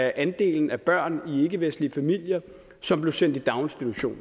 andelen af børn i ikkevestlige familier som blev sendt i daginstitution